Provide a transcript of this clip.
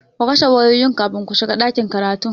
Ku kashe wayoyinku kafin ku shiga ɗakin karatun!